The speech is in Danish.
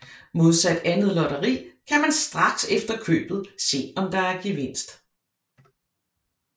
Modsat andet lotteri kan man straks efter købet se om der er gevinst